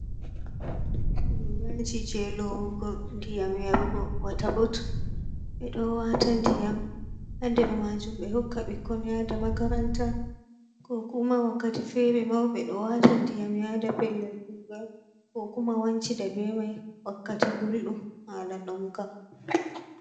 Goraji je lowugo ɗiyam yarugo wata botul, be do wata diyam haɗer majum be hokka ɗikkon yada makaranta, ko kuma wakkati fere mauɓe ɗo wata diyam yada pellel kugal, ko kuma wanci dabe mai wakkati gulɗum hala ɗonka.